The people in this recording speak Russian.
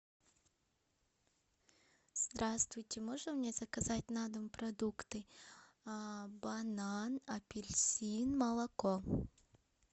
здравствуйте можно мне заказать на дом продукты банан апельсин молоко